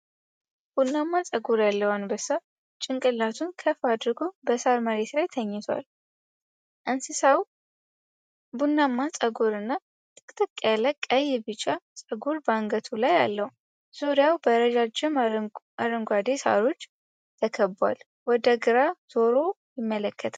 ቡናማ ጸጉር ያለው አንበሳ ጭንቅላቱን ከፍ አድርጎ በሳር መሬት ላይ ተኝቷል። እንስሳው ቡናማ ጸጉር እና ጥቅጥቅ ያለ ቀይ-ቢጫ ፀጉር በአንገቱ ላይ አለው። ዙሪያውን በረጃጅም አረንጓዴ ሳሮች ተከቧል፤ ወደ ግራ ዞሮ ይመለከታል።